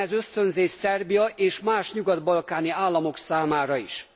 Legyen ez ösztönzés Szerbia és más nyugat balkáni államok számára is.